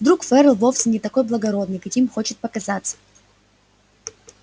вдруг ферл вовсе не такой благородный каким хочет показаться